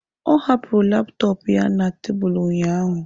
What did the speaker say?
Ọ hapụrụ laptọọpụ ya na tebụl ụnyaahụ.